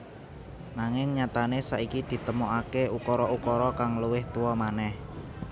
Nanging nyatané saiki ditemokaké ukara ukara kang luwih tuwa manèh